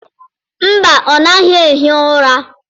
Mba, ọ naghị ehi ụra